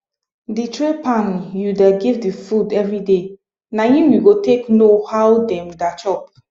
the tray pan u da give the food every day na him u go take know how them da chop